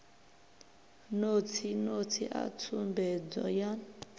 notsi notsi a tsumbedzo yan